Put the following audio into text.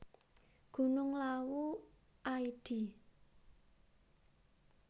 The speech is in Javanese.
Gunung Lawu id